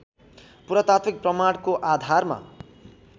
पुरातात्विक प्रमाणको आधारमा